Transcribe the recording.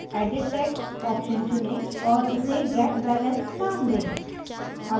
edit text option चुनें और इसे get balance name दें